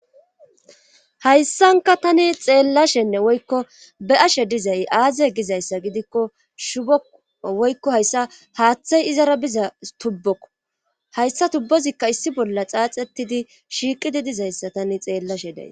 Hayssanka tani xeellashenne woykko be ashe dizay aaze gizayssa gidikko shubou woykko hayssa haaththay izara biza tubbokko hayssa tubbozikka issi bolla xaaxetidi shiiqidi dizayssa tani xeellashe day.